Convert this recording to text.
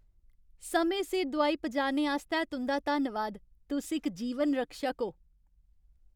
समें सिर दोआई पजाने आस्तै तुं'दा धन्नवाद। तुस इक जीवन रक्षक ओ।